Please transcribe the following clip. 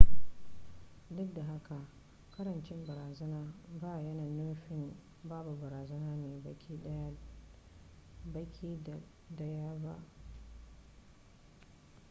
duk da haka karancin barazanar ba yana nufin babu barazanar ne baki daya ba